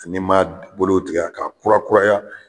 Fi n'i man bolow tigɛ ka kurakuraya.